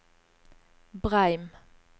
Breim